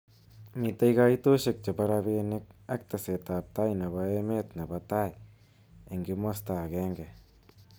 Mitei kaitoshek chebo robinik ak teset ab tai nebo emet nebo tai eng�kimosta�agenge.